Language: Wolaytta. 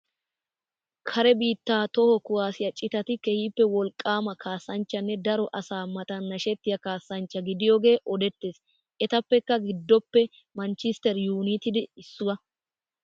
Kare biittaa toho kuwaasiya citati keehippe wolqqaama kaassanchchanne daro asaa matan nashettiya kaassanchcha gidiyogee odettees. Etappekka giddoppe manchchiistter yuunaytidee issuwa.